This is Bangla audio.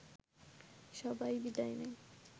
সবাই বিদায় নেয়